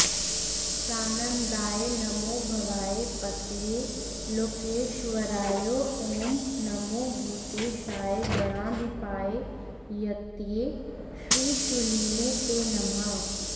सानन्दाय नमो भवाय पतये लोकेश्वरायो ॐ नमो भूतेशाय गणाधिपाय यतये श्रीशूलिने ते नमः